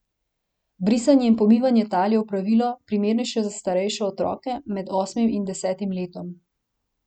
Brisanje in pomivanje tal je opravilo, primernejše za starejše otroke, med osmim in desetim letom.